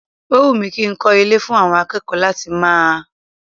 O wù mí kí n kọ́ ilé fún àwọn akẹ́kọ̀ọ́ láti máa ẹ.